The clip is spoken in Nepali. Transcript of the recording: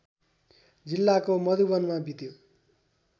जिल्लाको मधुवनमा बित्यो